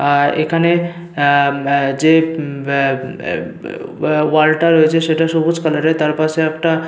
আর এখানে অ্যা মা যে উম অ্যা ওয়া ওয়াল -টা রয়েছে সেটা সবুজ কালার -এর তার পাশে একটা--